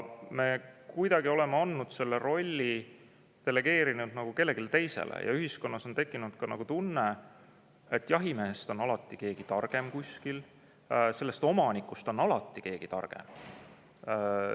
Me nagu oleme selle rolli delegeerinud kellelegi teisele ja ühiskonnas on tekkinud tunne, et jahimehest on alati keegi targem kuskil, omanikust on alati keegi targem.